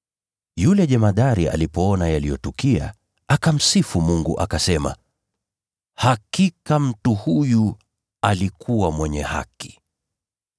Yule jemadari alipoona yaliyotukia, akamsifu Mungu, akasema, “Hakika, mtu huyu alikuwa mwenye haki.”